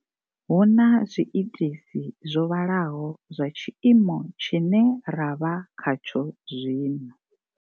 Hu na zwi itisi zwo vhalaho zwa tshiimo tshine ra vha kha tsho zwino.